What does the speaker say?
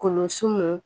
Kolon sun